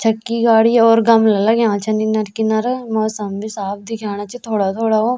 छक्की गाड़ी और गमला लग्यां छन इनर किनर मौसम भी साफ देखेणा च थोड़ा थोड़ा व।